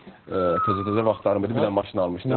Təzə-təzə vaxtlarım idi, bir dənə maşın almışdım.